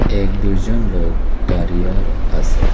এক দুইজন লোক দাঁড়িয়ে আর আসে।